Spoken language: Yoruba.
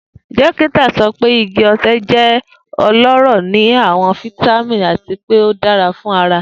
Dokita sọ pe igi ose jẹ ọlọrọ ni awọn vitamin ati pe o dara fun ara.